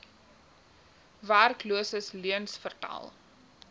werkloses leuens vertel